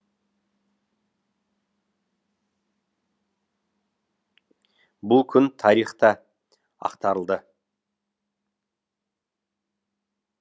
бұл күн тарих та ақтарылды